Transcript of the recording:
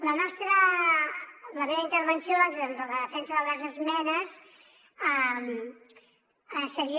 la meva intervenció doncs en la defensa de les esmenes seria